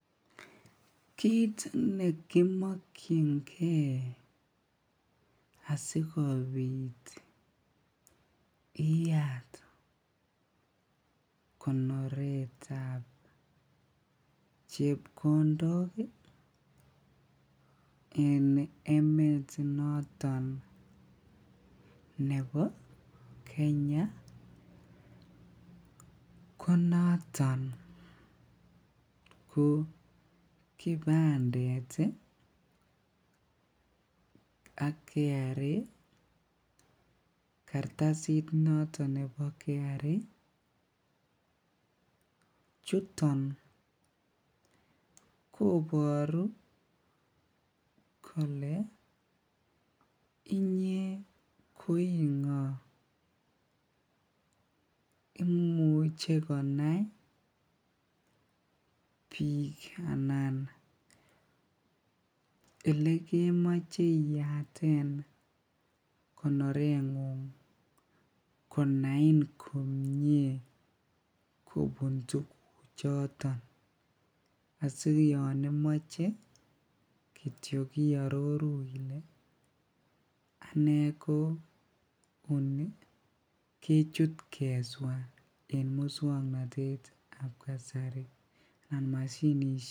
Kiit nekimokyinge asikobit iyaat konoretab chepkondok en emet noton nebo Kenya konoton ko kipandet ak KRA kartasit noton nebo KRA, chuton koboru kolee inyee ko ingoo, imuche konai biik anan elekemoche iyaten konorengung konain komnye kobun tukuchoton asii yoon imoche kitiok iororu ilee anee ko onii kechut keswaa en muswoknotetab kasari anan mashinishek.